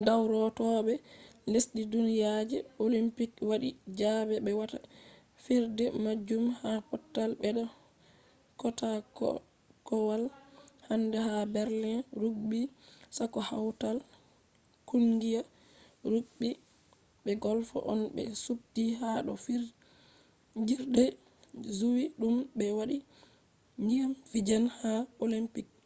dawrotoobe lesdi duniya je olympics wadi zabe be wata fijirde majum ha pottal beda kootaakowal hande ha berlin. rugby sakko hautal kungiya rugby be golf on be subti ha do fijirde juwi dum be wadi niyya fijan ha olympics